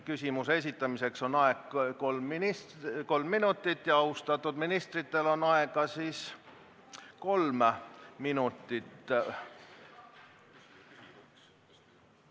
Küsimuse esitamiseks on aega kolm minutit ja austatud ministritel on aega kolm minutit ...